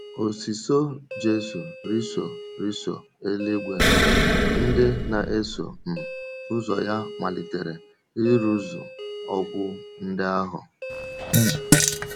Ọ̀sìsọ́ Jisù rìso rìso eluigwe, ndị na-eso um ụzọ ya malitere ịrụzu okwu ndị ahụ.